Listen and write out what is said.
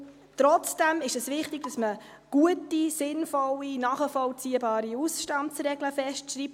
Trotzdem ist es wichtig, dass man gute, sinnvolle, nachvollziehbare Ausstandsregeln festschreibt.